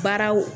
Baaraw